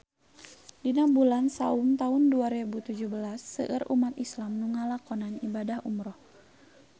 Dina bulan Saum taun dua rebu tujuh belas seueur umat islam nu ngalakonan ibadah umrah